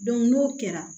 n'o kɛra